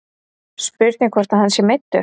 Spurning hvort að hann sé meiddur.